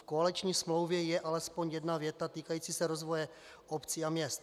V koaliční smlouvě je alespoň jedna věta týkající se rozvoje obcí a měst.